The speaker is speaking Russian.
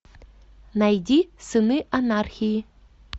найди сыны анархии